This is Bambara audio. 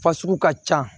Fasugu ka ca